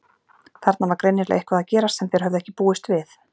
Þarna var greinilega eitthvað að gerast sem þeir höfðu ekki búist við.